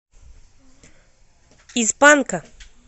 из панка